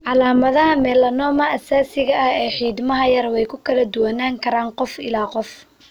Calaamadaha melanoma aasaasiga ah ee xiidmaha yar way ku kala duwanaan karaan qof ilaa qof.